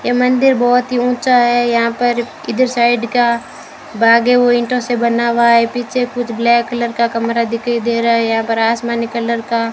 ये मंदिर बहोत ही ऊंचा है यहां पर इधर साइड का भाग है वो ईंटों से बना हुआ है पीछे कुछ ब्लैक कलर का कमरा दिखाई दे रहा है यहां पर आसमानी कलर का --